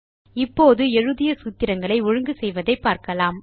இப்போது எழுதிய சூத்திரங்களை ஒழுங்கு செய்வதை பார்க்கலாம்